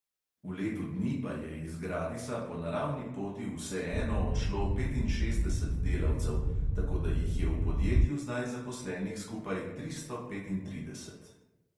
V letu dni pa je iz gradisa po naravni poti vseeno odšlo petinšestdeset delavcev, tako da jih je v podjetju zdaj zaposlenih skupaj tristo petintrideset.